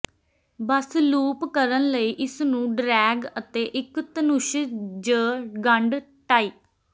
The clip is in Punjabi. ਬਸ ਲੂਪ ਕਰਨ ਲਈ ਇਸ ਨੂੰ ਡਰੈਗ ਅਤੇ ਇੱਕ ਧਨੁਸ਼ ਜ ਗੰਢ ਟਾਈ